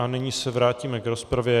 A nyní se vrátíme k rozpravě.